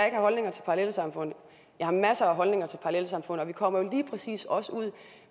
ikke har holdninger til parallelsamfund jeg har masser af holdninger til parallelsamfund og vi kommer lige præcis også ud